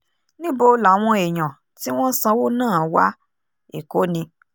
níbo làwọn èèyàn tí wọ́n sanwó náà wá èkó ni